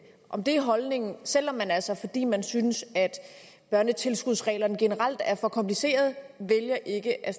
om det er holdningen selv om man altså fordi man synes at børnetilskudsreglerne generelt er for komplicerede vælger ikke at